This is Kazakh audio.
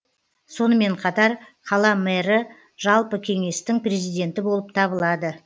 сонымен қатар қала мэрі жалпы кеңестің президенті болып табылады